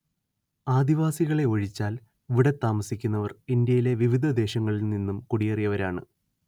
ആദിവാസികളെ ഒഴിച്ചാൽ ഇവിടെ താമസിക്കുന്നവർ ഇന്ത്യയിലെ വിവിധ ദേശങ്ങളിൽ നിന്നും കുടിയേറിയവരാണ്‌